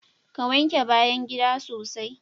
Ka! wanke bayan gida sosai